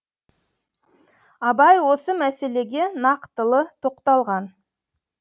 абай осы мәселеге нақтылы тоқталған